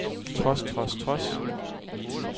trods trods trods